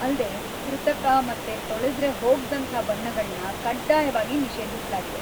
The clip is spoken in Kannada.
ಅಲ್ದೇ, ಕೃತಕ ಮತ್ತೆ ತೊಳೆದ್ರೆ ಹೋಗ್ದಂಥ ಬಣ್ಣಗಳ್ನ ಕಡ್ಡಾಯವಾಗಿ ನಿಷೇಧಿಸ್ಲಾಗಿದೆ.